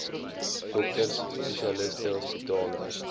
dokters spesialiste hospitale